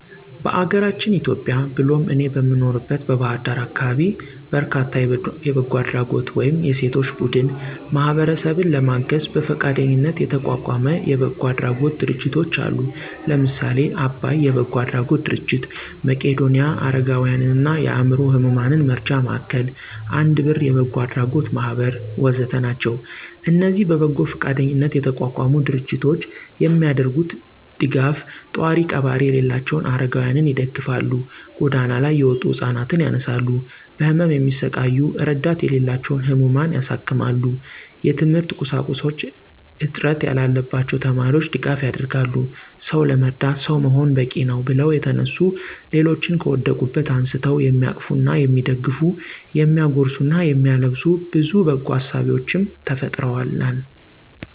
በአገራችን ኢትዮጵያ ብሎም እኔ በምኖርበት በባህር ዳር አካባቢ በርካታ የበጎ አድራጎት ወይም የሴቶች ቡድን ማህበረሰብን ለማገዝ በፈቃደኝነት የተቋቋመ የበጎ አድራጎት ድርጅቶች አሉ። ለምሳሌ :- አባይ የበጎ አድራጎት ድርጅት፣ መቄዶንያ የአረጋውያንና የአዕምሮ ህሙማን መርጃ ማዕከል፣ አንድ ብር የበጎ አድራጎት ማህበር ወ.ዘ.ተ... ናቸው። እነዚህ በበጎ ፈቃደኝነት የተቋቋሙ ድርጅቶች የሚያደርጉት ደጋፍ፣ ጧሪ ቀባሪ የሌላቸውን አረጋውያንን ይደግፋል፣ ጎዳና ላይ የወጡ ህፃናት ያነሳሉ፣ በህመም የሚሰቃዩ እረዳት የሌላቸውን ህሙማን ያሳክማሉ፣ የትምህርት ቁሳቁስ እጥት ላለባቸው ተማሪዎች ድጋፍ ያደርጋሉ። «ሰው ለመርዳት ሰው መሆን በቂነው» ብለው የተነሱ ሌሎችን ከወደቁበት አንስተው የሚያቅፉና የሚደግፉ፤ የሚያጎርሱና የሚያለብሱ ብዙ በጎ አሳቢዎችም ተፈጥረውልናል።